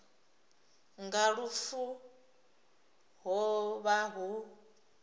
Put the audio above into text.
nga lufu ho vha hu